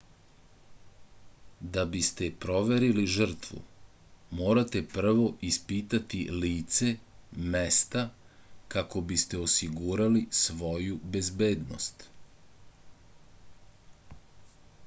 da biste proverili žrtvu morate prvo ispitati lice mesta kako biste osigurali svoju bezbednost